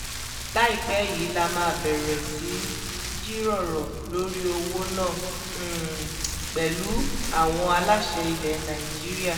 láìpẹ́ yìí la máa bẹ̀rẹ̀ sí í jíròrò lórí owó náà pẹ̀lú àwọn aláṣẹ ilẹ̀ nàìjíríà